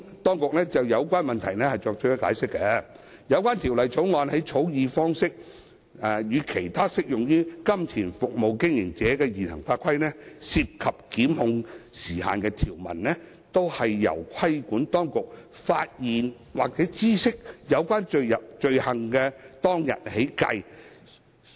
當局就有關問題作出解釋，有關《條例草案》的草擬方式，與其他適用於金錢服務經營者的現行法規涉及檢控時限的條文一致，兩者均由規管當局發現或知悉有關罪行當日起計算。